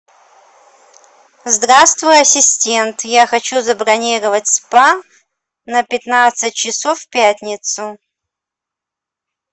здравствуй ассистент я хочу забронировать спа на пятнадцать часов в пятницу